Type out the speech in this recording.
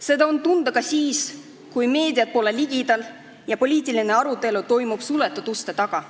Seda on tunda ka siis, kui meediat pole ligidal ja poliitiline arutelu toimub suletud uste taga.